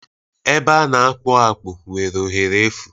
Ebe a na-akpụ akpụ nwere ohere efu